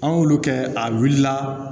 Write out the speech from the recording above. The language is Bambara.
An y'olu kɛ a wulila